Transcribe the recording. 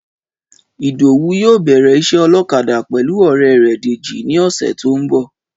Ìdòwú yóò bẹ̀rẹ̀ iṣẹ́ ọlọ́kadà pẹ̀lú ore rẹ̀ Dèjì ní ọ̀sẹ̀ tó ń bọ̀